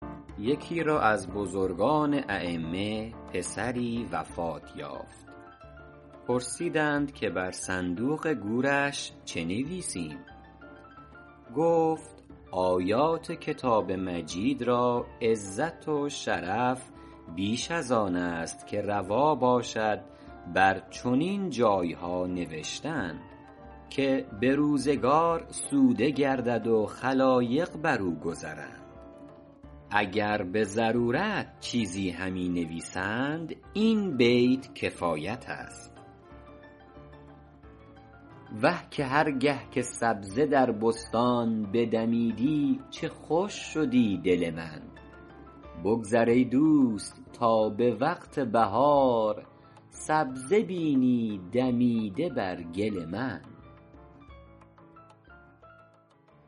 یکی را از بزرگان ایمه پسری وفات یافت پرسیدند که بر صندوق گورش چه نویسیم گفت آیات کتاب مجید را عزت و شرف بیش از آن است که روا باشد بر چنین جایها نوشتن که به روزگار سوده گردد و خلایق بر او گذرند و سگان بر او شاشند اگر به ضرورت چیزی همی نویسند این بیت کفایت است وه که هر گه که سبزه در بستان بدمیدی چه خوش شدی دل من بگذر ای دوست تا به وقت بهار سبزه بینی دمیده بر گل من